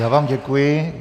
Já vám děkuji.